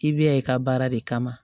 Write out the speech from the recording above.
I bɛ ya i ka baara de kama